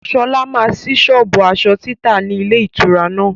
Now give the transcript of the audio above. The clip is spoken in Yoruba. Sọlá máa síí sọ́ọ́bù aṣọ títa ni ilé ìtura náà.